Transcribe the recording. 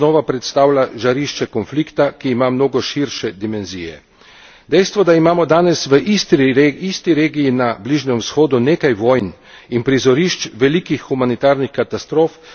Dejstvo, da imamo danes v isti regiji na Bližnjem vzhodu nekaj vojn in prizorišč velikih humanitarnih katastrof v ničemer ne zmanjšuje dramatičnosti najnovejšega dogajanja okoli Gaze.